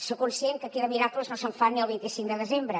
soc conscient que aquí de miracles no se’n fan ni el vint cinc de desembre